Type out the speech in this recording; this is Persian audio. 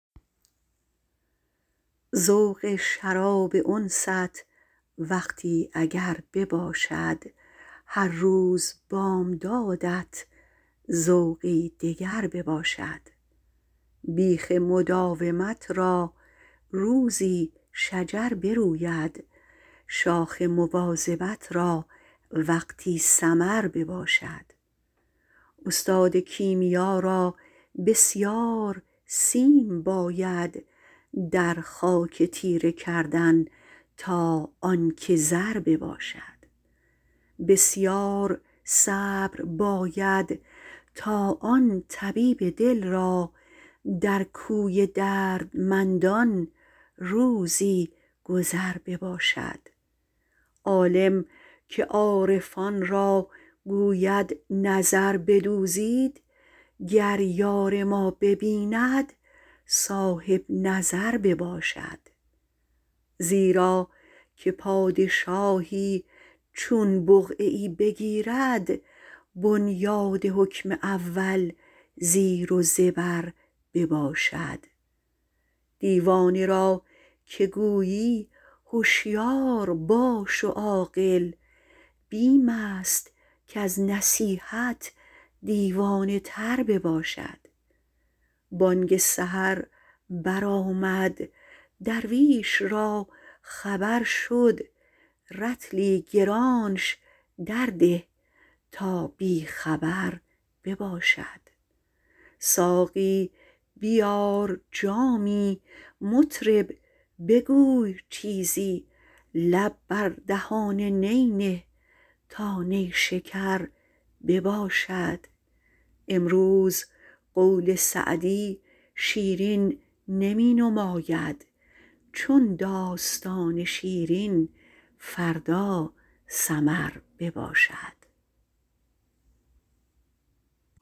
ذوق شراب انست وقتی اگر بباشد هر روز بامدادت ذوقی دگر بباشد بیخ مداومت را روزی شجر بروید شاخ مواظبت را وقتی ثمر بباشد استاد کیمیا را بسیار سیم باید در خاک تیره کردن تا آن که زر بباشد بسیار صبر باید تا آن طبیب دل را در کوی دردمندان روزی گذر بباشد عالم که عارفان را گوید نظر بدوزید گر یار ما ببیند صاحب نظر بباشد زیرا که پادشاهی چون بقعه ای بگیرد بنیاد حکم اول زیر و زبر بباشد دیوانه را که گویی هشیار باش و عاقل بیم است کز نصیحت دیوانه تر بباشد بانگ سحر بر آمد درویش را خبر شد رطلی گرانش درده تا بی خبر بباشد ساقی بیار جامی مطرب بگوی چیزی لب بر دهان نی نه تا نیشکر بباشد امروز قول سعدی شیرین نمی نماید چون داستان شیرین فردا سمر بباشد